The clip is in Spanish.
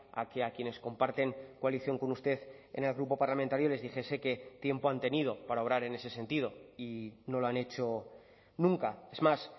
a que a quienes comparten coalición con usted en el grupo parlamentario les dijese que tiempo han tenido para obrar en ese sentido y no lo han hecho nunca es más